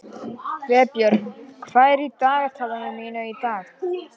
Vébjörn, hvað er í dagatalinu mínu í dag?